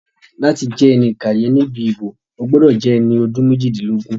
Láti jẹ́ ẹni ìkàyẹ̀ níbi ìbò, o gbọ́dọ̀ jẹ́ ẹni ọdún méjìdínlógún